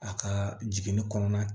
A ka jiginni kɔnɔna na